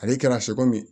Ale kɛra ye